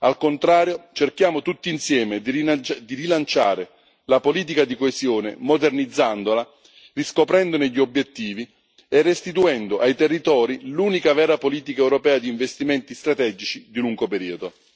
Al contrario, cerchiamo tutti insieme di rilanciare la politica di coesione modernizzandola, riscoprendone gli obiettivi e restituendo ai territori l'unica vera politica europea di investimenti strategici di lungo periodo.